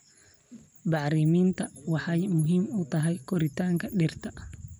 Bacriminta waxay muhiim u tahay koritaanka dhirta.